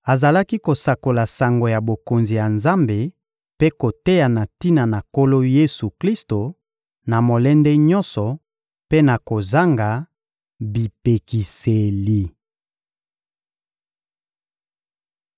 azalaki kosakola sango ya Bokonzi ya Nzambe mpe koteya na tina na Nkolo Yesu-Klisto, na molende nyonso mpe na kozanga bipekiseli.